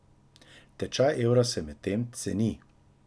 Tečaj evra se medtem ceni.